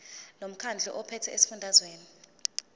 lomkhandlu ophethe esifundazweni